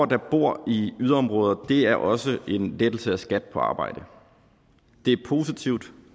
der bor i yderområder er også en lettelse af skat på arbejde det er positivt